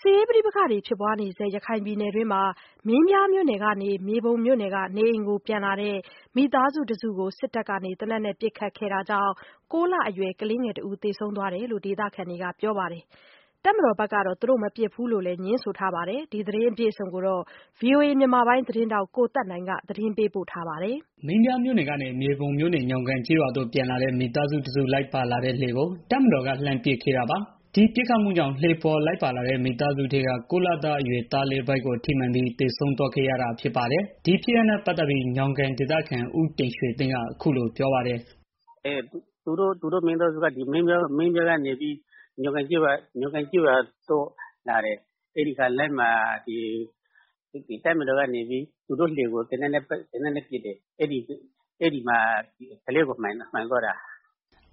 စ်ရေးပဋိပက္ခတွေ ဖြစ်ပွားနေဆဲ ရခိုင်ပြည်နယ်တွင်းမှာ မင်းပြားမြို့နယ်ကနေ မြေပုံမြို့နယ်က နေအိမ်ကို ပြန်လာတဲ့ မိသားစုတစုကို စစ်တပ်က သေနတ်နဲ့ပစ်ခတ်ခဲ့တာကြောင့် ၉ လအရွယ် ကလေး သေဆုံးသွားတယ်လို့ ဒေသခံတွေက ပြောပါတယ်။ တပ်မတော်ဘက်ကတော့ သူတို့မပစ်ဘူးလို့ ငြင်းဆိုထားပါတယ်။ အပြည့်အစုံကို ဗွီအိုအေ မြန်မာပိုင်းသတင်းထောက် ကိုသက်နိုင် တင်ပြပေးထားပါတယ်။ မင်းပြားမြို့နယ်ကနေ မြေပုံမြို့နယ် ညောင်ကန်ကျေးရွာကို ပြန်လာတဲ့ မိသားစုတစု လိုက်ပါလာတဲ့ လှေကို တပ်မတော်က လှမ်းပစ်ခတ်ခဲ့တာပါ။ ဒီပစ်ခတ်မှုကြောင့် လှေပေါ်လိုက်ပါလာတဲ့ မိသားစုထဲက ၉ လအရွယ်သားလေး ဗိုက်ကိုထိမှန်ပြီး သေဆုံးသွားခဲ့ရတာ ဖြစ်ပါတယ်။ ဒီဖြစ်ရပ်နဲ့ ပတ်သက်ပြီး ညောင်ကန်ဒေသခံ ဦးတင်ရွှေသိန်းက အခုလို ပြောပါတယ်။ “သူတို့မိသားစုက မင်းပြားမြို့နယ်ကနေပြီးတော့ ညောင်ကန်ကျေးရွာကို လာတာ။ လမ်းမှာ သူတို့စီးလာတဲ့ လှေကို တပ်မတော်သားတွေက သေနတ်နဲ့ပစ်တယ်။ အဲဒီမှာ ကလေးကို ထိသွားတာ။”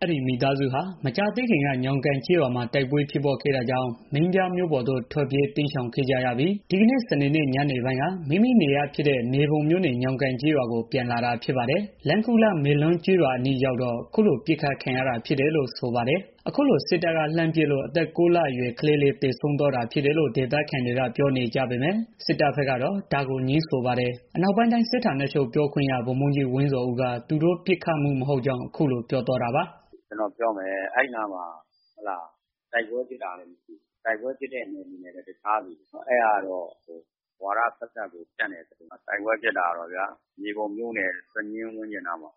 အဲဒီမိသားစုဟာ မကြာသေးခင်က ညောင်ကန်ကျေးရွာမှာ တိုက်ပွဲဖြစ်ပွားခဲ့တာကြောင့် မင်းပြားမြို့ပေါ်ကို ထွက်ပြေးတိမ်းရှောင်ခဲ့ကြပြီး ဒီကနေ့ စနေညနေပိုင်းက မိမိနေရပ်ဖြစ်တဲ့ မြေပုံမြို့နယ် ညောင်ကန်ကျေးရွာကို ပြန်လာတာဖြစ်ပါတယ်။ လမ်းခုလတ် မေလွန်းကျေးရွာအနီးရောက်တော့ အခုလို ပစ်ခတ်ခံရတာ ဖြစ်တယ်လို့ ဆိုပါတယ်။ အခုလို စစ်တပ်က လှမ်းပစ်လို့ အသက် ၉ လအရွယ် ကလေး သေဆုံးသွားတာဖြစ်တယ်လို့ ဒေသခံတွေက ပြောနေကြပေမယ့် စစ်တပ်ဘက်ကတော့ ဒါကို ငြင်းဆိုပါတယ်။ အနောက်ပိုင်းတိုင်းစစ်ဌာနချုပ် ပြောခွင့်ရ ဗိုလ်မှူးကြီး ဝင်းဇော်ဦးက သူတို့ပစ်ခတ်မှု မဟုတ်ကြောင်း အခုလို ပြောပါတယ်။ “ကျနော်ပြောမယ် အဲဒီနားမှာ တိုက်ပွဲဖြစ်တာလည်း မရှိဘူး။ တိုက်ပွဲဖြစ်တဲ့ နယ်မြေနဲ့လည်း တခြားစီ၊ အဲဒါကတော့ ဝါဒသက်သက်ကို ဖြန့်တဲ့သတင်းဗျာ။ တိုက်ပွဲဖြစ်တာကတော့ မြေပုံမြို့နယ် စညင်းကျေးရွာဝန်းကျင်နားမှာ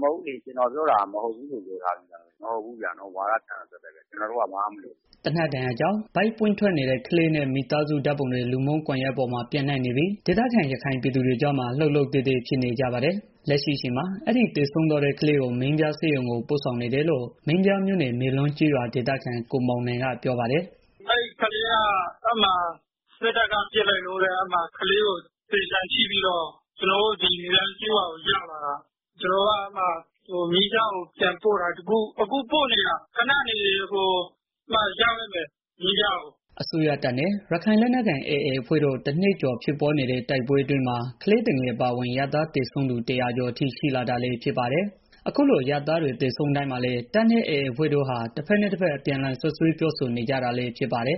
ပဲ ရှိတယ်။ ကျနော်ပြောတာ မဟုတ်ဘူးပြောတာ။ ဝါဒဖြန့်တာသက်သက်ပဲ၊ ကျနော်တို့က ဘာမှမလုပ်ဘူး။” သေနတ်ဒဏ်ရာကြောင့် ဗိုက်ပွင့်ထွက်နေတဲ့ ကလေးနဲ့ မိသားစုဓာတ်ပုံတွေ လူမှုကွန်ရက်ပေါ်မှာ ပျံ့နှံ့နေပြီး ဒေသခံ ရခိုင်ပြည်သူတွေကြားမှာ လှုပ်လှုပ်သဲသဲ ဖြစ်နေကြပါတယ်။ လက်ရှိအချိန်မှာ အဲဒီ သေဆုံးသွားတဲ့ ကလေးကို မင်းပြားဆေးရုံကို ပို့ဆောင်နေတယ်လို့ မင်းပြားမြို့နယ် မေလွန်းကျေးရွာ ဒေသခံ ကိုမောင်နိုင်က ပြောပါတယ်။ “အဲဒီကလေးကို စစ်တပ်က ပစ်လိုက်လို့ ဆိုပြီးတော့ ကျနော်တို့ မေလွန်းကျေးရွာကို ရောက်လာတာ။ အဲဒီကလေးကို ကျနော်တို့က မင်းပြားမြို့နယ်ဆေးရုံကို ပြန်ပို့နေတာ၊ အခုပို့နေပြီ ရောက်တော့မယ်။” အစိုးရတပ်နဲ့ ရခိုင်လက်နက်ကိုင် AA တပ်ဖွဲ့တို့ တနှစ်ကျော် ဖြစ်ပွားနေတဲ့ တိုက်ပွဲအတွင်းမှာ ကလေးသူငယ် အပါအဝင် အရပ်သား သေဆုံးတာ ၁၀၀ ကျော်အထိ ရှိလာတာလည်း ဖြစ်ပါတယ်။ အခုလို အရပ်သားတွေ သေဆုံးတိုင်းမှာလည်း တပ်နဲ့ AA အဖွဲ့တို့ဟာ တဖက်နဲ့တဖက် အပြန်အလှန် စွပ်စွဲပြောဆိုနေကြတာလည်း ဖြစ်ပါတယ်